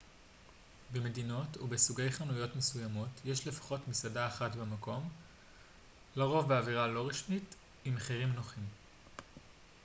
במדינות או בסוגי חנויות מסוימות יש לפחות מסעדה אחת במקום לרוב באווירה לא רשמית עם מחירים נוחים